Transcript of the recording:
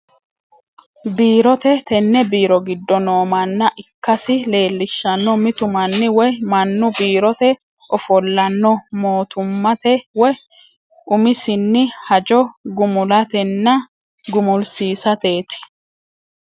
Biirote, tene biiro gidooni noo mana ikkasi leelishano, mitu mani woyi manu biirote offollano mootummate woyi umisinni hajjo gumulatenna gumulisisateeti